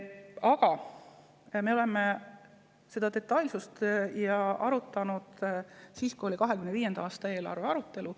Aga me oleme seda detailsust arutanud siis, kui oli 2025. aasta eelarve arutelu.